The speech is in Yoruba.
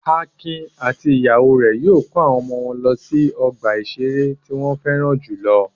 Akin àti ìyàwó rẹ̀ yóò kó àwọn ọmọ wọn lọ sí ọgbà-ìṣeré tí wọ́n fẹ́ràn jù lọ.